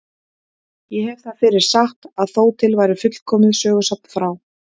Ég hef það fyrir satt að þó til væri fullkomið sögusafn frá